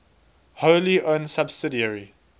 wholly owned subsidiary